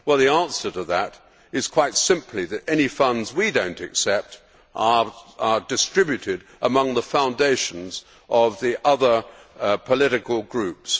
Well, the answer to that is quite simply that any funds we do not accept are distributed among the foundations of the other political groups